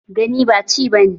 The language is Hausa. Gani ba ci ba ne.